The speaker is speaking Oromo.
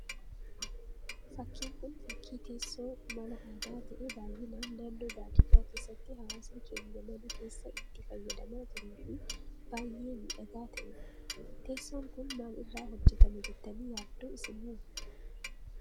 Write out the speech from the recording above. Fakkiin Kun, fakkii teessoo mala aadaa ta'ee baayyinaan naannoo baadiyyaa keessatti hawaasni keenya mana keessa itti fayyamaa turee fi baayyee miidhagaa ta'edha. Teessoon Kun maal irraa hojjetama jettanii yaaddu isin hoo?